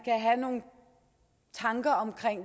have nogle tanker om